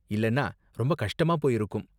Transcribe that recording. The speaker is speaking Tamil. இல்லன்னா ரொம்ப கஷ்டமா போயிருக்கும்.